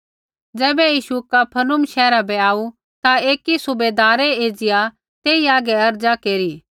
ज़ैबै यीशु कफरनहूम शैहरा बै आऊ ता एकी सुबैदारै एज़िया तेई हागै अर्ज़ा केरी